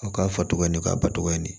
A k'a fɔ togo ni k'a batogoya ɲini